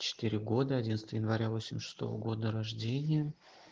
четыре года одиннадцатого января восемьдесят шестого года рождения